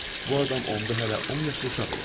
Bu adam onda hələ 10 yaşlı uşaq idi.